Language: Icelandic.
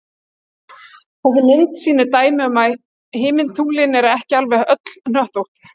Þessi mynd sýnir dæmi um að himintunglin eru ekki alveg öll hnöttótt.